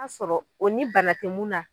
o ni bana tɛ mun na.